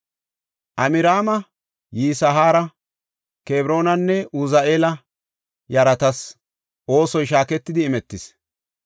Amraama, Yisihaara, Kebroonanne Uzi7eela yaratas oosoy shaaketidi imetis.